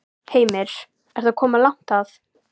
Ég verð að fara aftur út á Ingjaldssand.